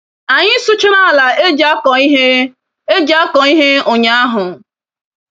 Anyị sụchara ala eji akọ ihe eji akọ ihe ụnyaahụ.